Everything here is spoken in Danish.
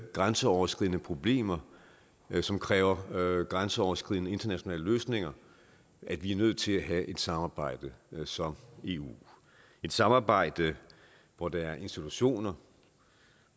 grænseoverskridende problemer som kræver grænseoverskridende internationale løsninger at vi er nødt til at have et samarbejde som eu et samarbejde hvor der er institutioner